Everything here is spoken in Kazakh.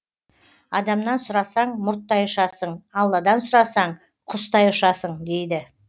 адамнан сұрасаң мұрттай ұшасың алладан сұрасаң құстай ұшасың дейді